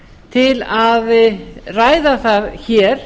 til að ræða það hér